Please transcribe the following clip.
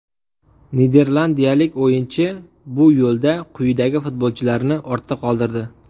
Niderlandiyalik o‘yinchi bu yo‘lda quyidagi futbolchilarni ortda qoldirdi: !